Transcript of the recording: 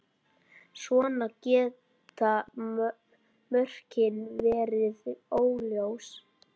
Svona geta mörkin verið óljós.